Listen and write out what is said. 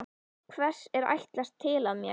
Hvers er ætlast til af mér?